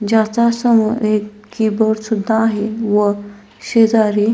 ज्याच्या समोर एक कीबोर्ड सुद्धा आहे व शेजारी--